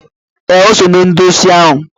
Eh, o so na ndị osi ahụ.